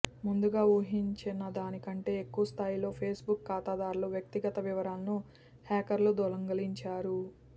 ముందుగా ఊహించినదాని కంటే ఎక్కువ స్థాయిలో ఫేస్బుక్ ఖాతాదారుల వ్యక్తిగత వివరాలను హ్యాకర్లు దొంగిలించారు